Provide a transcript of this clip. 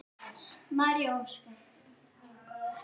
María og Óskar.